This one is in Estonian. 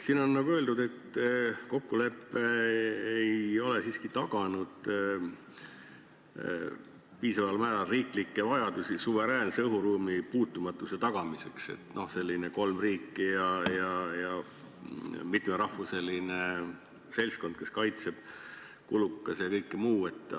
Siin on öeldud, et kokkulepe ei ole siiski taganud piisaval määral riiklikke vajadusi suveräänse õhuruumi puutumatuse tagamiseks – kolm riiki ja mitmerahvuseline seltskond, kulukas ja kõik muu.